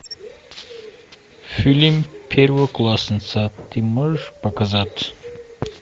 фильм первоклассница ты можешь показать